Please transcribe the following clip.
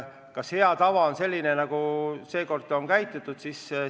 Kas hea tava on selline, nagu seekord on käitutud?